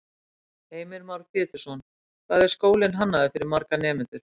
Heimir Már Pétursson: Hvað, hvað er skólinn hannaður fyrir marga nemendur?